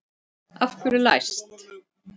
Af hverju er læst?